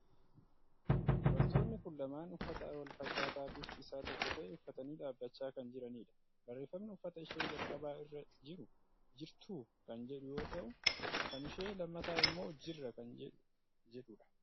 Dubartoonni kun lamaan uffata wal fakkaataa bifti isaa tokko ta'e uffatanii dhaabachaa kan jiranidha. Barreeffamni uffata ishee jalqabaa irra jiru "Jirtuu?" kan jedhu yoo ta'u, kan ishee lammataa immoo "jirra" kan jedhudha.